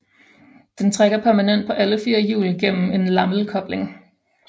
Den trækker permanent på alle fire hjul gennem en lamelkobling